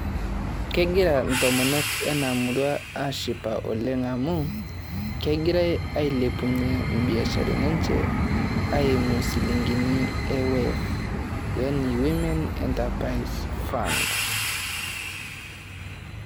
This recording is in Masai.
Kegira ntomonok ena murua aashipa oleng amu, kegirai ailepunyie ibiasharani enye aimu shilingini e WEF yaani Women Enterprise Funds.